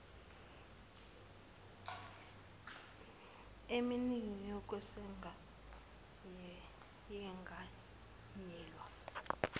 emningi yokweseka yenganyelwe